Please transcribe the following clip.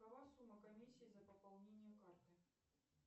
какова сумма комиссии за пополнение карты